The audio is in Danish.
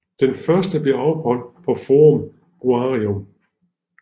Den første blev afholdt på Forum Boarium